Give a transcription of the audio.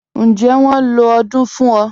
Ǹjẹ́ wọ́n ló odung fún ọ?